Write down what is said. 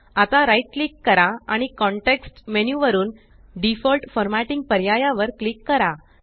आता right click करा आणि कॉंटेक्स्ट मेन्यु वरुन डिफॉल्ट फॉर्मॅटिंग पर्याया वर क्लिक करा